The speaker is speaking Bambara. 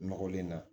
Nɔgɔlen na